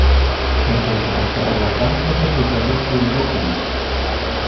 Er þá ekki hægt að horfa framhjá þessu þegar leikið er í deildinni?